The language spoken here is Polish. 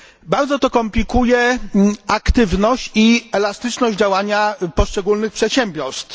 Bardzo to komplikuje aktywność i elastyczność działania poszczególnych przedsiębiorstw.